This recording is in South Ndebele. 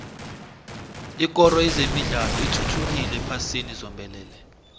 ikoro yezemidlalo ithuthukile ephasini zombelele